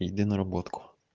иди на работку